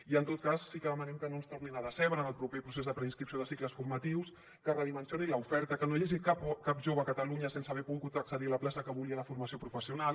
i en tot cas sí que demanem que no ens tornin a decebre en el proper procés de preinscripció de cicles formatius que es redimensioni l’oferta que no hi hagi cap jove a catalunya sense haver pogut accedir a la plaça que volia de formació professional